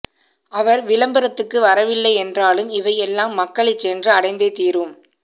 அவர் விளம்பரத்துக்கு வரவில்லை என்றாலும் இவை எல்லாம் மக்களை சென்று அடைந்தே தீரும்